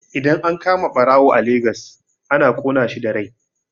Idan an kama ɓarawo a Lagos ƙona shi da rai